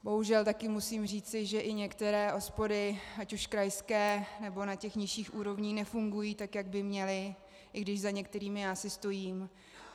Bohužel také musím říci, že i některé OSPODy, ať už krajské, nebo na těch nižších úrovních, nefungují tak, jak by měly, i když za některými já si stojím.